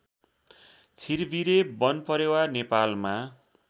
छिरबिरे वनपरेवा नेपालमा